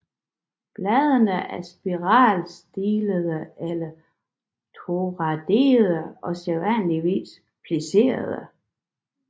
Bladene er spiralstillede eller toradede og sædvanligvis pliserede